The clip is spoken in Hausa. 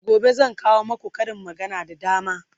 gobe zan kawo maku Karin magana da dama